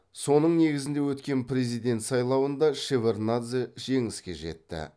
соның негізінде өткен президент сайлауында шеварднадзе жеңіске жетті